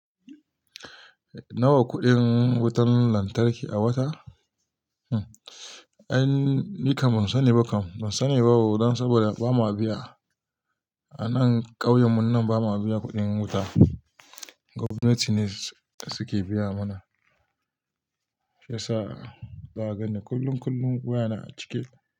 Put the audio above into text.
Nawa kuɗin wutan lantarki a wata? Hm, ai nikam ban sani ba kam, ban sani ba don saboda ba ma biya. A nan ƙauyen mu nan ba ma biya kuɗin wuta. Gwamnati ne suke biya mana. Shiyasa ba gani, kullun kullun waya na a cike.